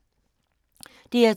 DR2